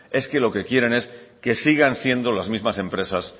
es que lo que quieren es que sigan siendo las mismas empresas